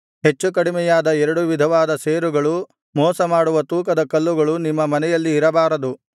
ಹೆಚ್ಚುಕಡಿಮೆಯಾದ ಎರಡು ವಿಧವಾದ ಸೇರುಗಳು ಹಾಗೂ ಮೋಸ ಮಾಡುವ ತೂಕದ ಕಲ್ಲುಗಳು ನಿಮ್ಮ ಮನೆಯಲ್ಲಿ ಇರಬಾರದು